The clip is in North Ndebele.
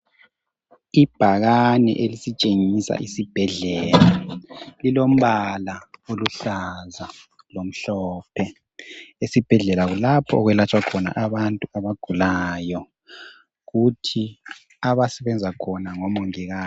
Ibhakane elisitshengisa isibhedlela lilombala oluhlaza lomhlophe esibhedlela kulapho okwelatshwa khona abantu abagulayo kuthi abasebenza khona ngomongikazi.